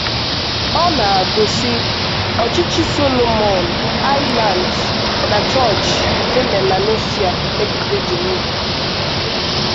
Ọ na-àgụ, sị: “Ọ̀chịchì Solomon Islands na Chọọchì nke Melanesia megide Jèhòvá.”